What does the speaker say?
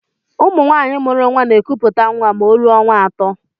Ụmụ nwanyị mụrụ nwa n'ekuputa nwa ma o rụọ ọnwa atọ.